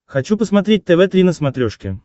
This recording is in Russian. хочу посмотреть тв три на смотрешке